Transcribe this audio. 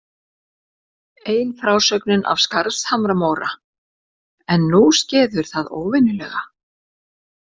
Ein frásögnin er af Skarðshamra-Móra: En nú skeður það óvenjulega.